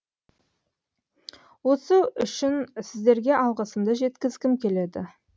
осы үшін сіздерге алғысымды жеткізгім келеді